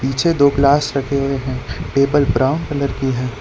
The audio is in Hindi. पीछे दो ग्लास रखे हुए हैं टेबल ब्राउन कलर की है।